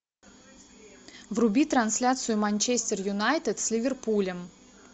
вруби трансляцию манчестер юнайтед с ливерпулем